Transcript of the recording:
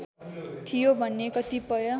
थियो भन्ने कतिपय